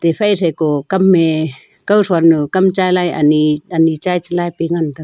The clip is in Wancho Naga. le thaiko kam e kao thon nu kam chai lai anyi anyi chai palai ngan taga.